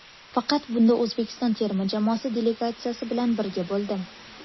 Faqat bunda O‘zbekiston terma jamoasi delegatsiyasi bilan birga bo‘ldim.